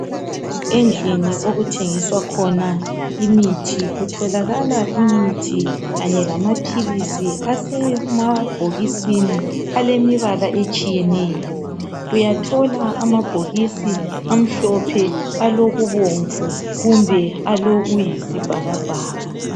Endlini okuthengiswa khona imithi kutholakala imithi kanye lamaphilisi asemabhokisini alemibala etshiyeneyo uyathola amabhokisi amhlophe alokubomvu kumbe alokuyisibhakabhaka